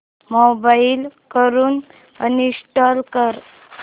mobile वरून uninstall कर